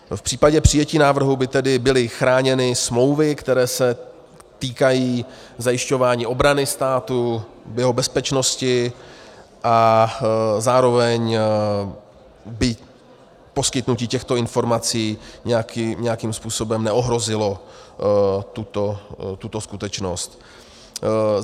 V případě přijetí návrhu by tedy byly chráněny smlouvy, které se týkají zajišťování obrany státu, jeho bezpečnosti, a zároveň by poskytnutí těchto informací nějakým způsobem neohrozilo tuto skutečnost.